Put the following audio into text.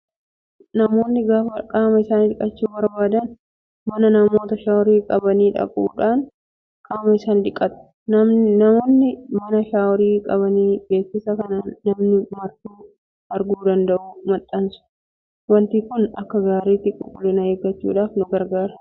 Namoonni gaafa qaama isaanii dhiqachuu barbaadan mana namoota shaaworii qabanii dhaquun qaama isaa dhiqata. Namoonni mana' shaaworii' qabanii beeksisa kan namni martuu arguu danda'u maxxansu. Wanti Kun Akka gaariitti qulqullina eeggachuuf nu gargaara.